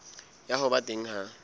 ya ho ba teng ha